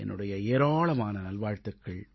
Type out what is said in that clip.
என்னுடைய ஏராளமான நல்வாழ்த்துக்கள்